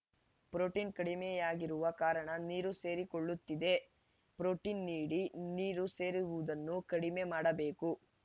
protein ಕಡಿಮೆಯಾಗಿರುವ ಕಾರಣ ನೀರು ಸೇರಿಕೊಳ್ಳುತ್ತಿದೆ ಪ್ರೊಟೀನ್‌ ನೀಡಿ ನೀರು ಸೇರುವುದನ್ನು ಕಡಿಮೆ ಮಾಡಬೇಕು